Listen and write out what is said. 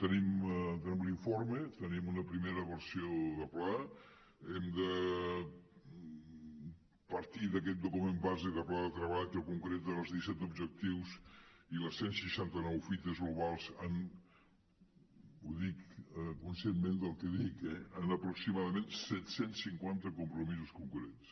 tenim l’informe tenim una primera versió de pla hem de partir d’aquest document base de pla de treball que concreta els disset objectius i les cent i seixanta nou fites globals en ho dic conscientment el que dic eh aproximadament set cents i cinquanta compromisos concrets